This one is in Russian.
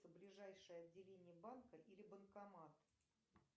ближайшее отделение банка или банкомат